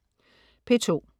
P2: